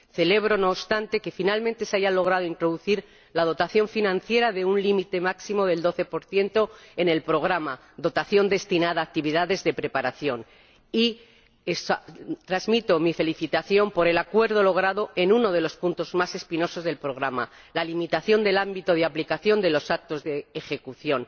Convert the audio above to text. Celebro, no obstante, que finalmente se haya logrado introducir la dotación financiera de un límite máximo del 12 en el programa, dotación destinada a actividades de preparación. Y transmito mi felicitación por el acuerdo logrado en uno de los puntos más espinosos del programa la limitación del ámbito de aplicación de los actos de ejecución.